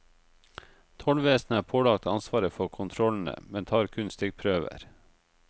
Tollvesenet er pålagt ansvaret for kontrollene, men tar kun stikkprøver.